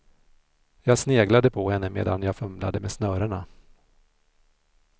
Jag sneglade på henne medan jag fumlade med snörena.